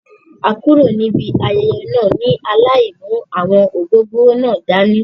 A kúrò níbi ayẹyẹ náà ni alai mú àwọn ògògóró náà dání.